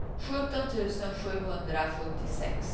sjutton tusen sjuhundrasjuttiosex